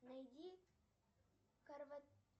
найди